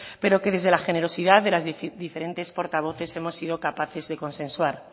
pero que desde la generosidad de las diferentes portavoces hemos sido capaces de consensuar